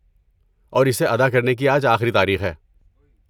اور اسے ادا کرنے کی آج آخری تاریخ ہے۔